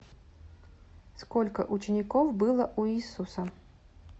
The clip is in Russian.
сколько учеников было у иисуса